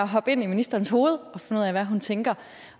hoppe ind i ministerens hoved og finde ud af hvad hun tænker